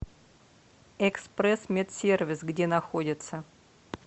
экспресс медсервис где находится